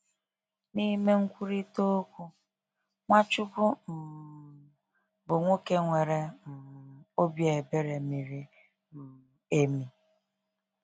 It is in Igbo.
N’ime nkwurịta okwu, Nwachukwu um bụ nwoke nwere um obi ebere miri um emi.